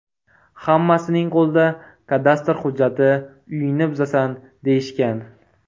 Hammasining qo‘lida kadastr hujjati, uyingni buzasan, deyishgan.